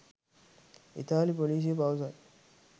ඉතාලි පොලිසිය පවසයි